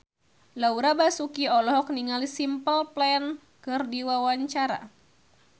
Laura Basuki olohok ningali Simple Plan keur diwawancara